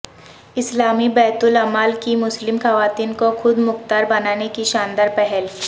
اسلامی بیت المال کی مسلم خواتین کو خود مختار بنانے کی شاندار پہل